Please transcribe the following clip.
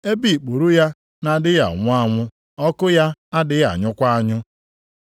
ebe “ ‘ikpuru ya na-adịghị anwụ anwụ, ọkụ ya adịghị anyụkwa anyụ.’ + 9:48 \+xt Aịz 66:24\+xt*